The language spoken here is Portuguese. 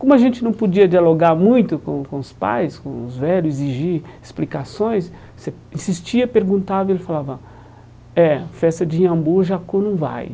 Como a gente não podia dialogar muito com com os pais, com os velhos, exigir explicações, você insistia, perguntava e ele falava, é, festa de iambu, jacu não vai.